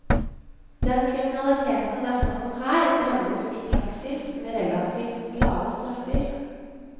Den kriminaliteten det er snakk om her, rammes i praksis med relativt lave straffer.